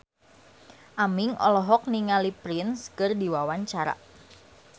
Aming olohok ningali Prince keur diwawancara